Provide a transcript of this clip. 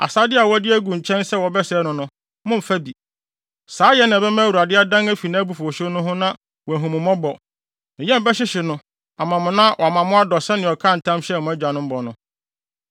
Asade a wɔde agu nkyɛn sɛ wɔbɛsɛe no no, mommfa bi. Saayɛ na ɛbɛma Awurade adan afi nʼabufuwhyew no ho na wahu mo mmɔbɔ. Ne yam bɛhyehye no ama mo na wama mo adɔ sɛnea ɔkaa ntam hyɛɛ mo agyanom bɔ no,